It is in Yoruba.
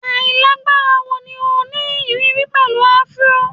Ailagbara wo ni o ni iriri pẹlu afro?